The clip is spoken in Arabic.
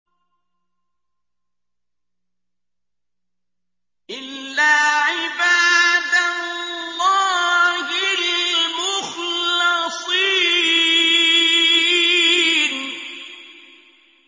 إِلَّا عِبَادَ اللَّهِ الْمُخْلَصِينَ